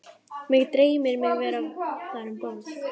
Mig dreymir mig vera þar um borð